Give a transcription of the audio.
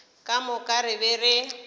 ka moka re be re